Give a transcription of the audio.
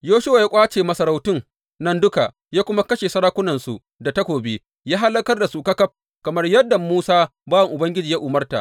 Yoshuwa ya ƙwace masarautun nan duka ya kuma kashe sarakunansu da takobi, ya hallakar da su ƙaƙaf kamar yadda Musa bawan Ubangiji ya umarta.